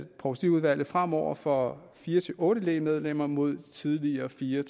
provstiudvalget fremover får fire otte lægmedlemmer mod tidligere fire